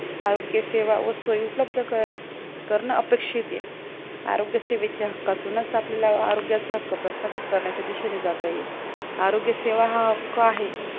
आरोग्य सेवा व सोई उपलब्ध करणे अपेक्षित आहे आरोग्य सेवेचे हक्कातूनच आपल्याला आरोग्यचा हक्क प्रस्थापित करण्याच्या दिशेने जाता येईल आरोग्य सेवा हा हक्क आहे.